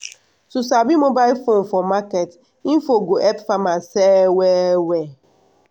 to sabi mobile phone for market info go help farmers sell well well